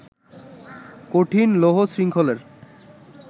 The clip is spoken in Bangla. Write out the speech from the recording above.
কঠিন লৌহশৃঙ্খলের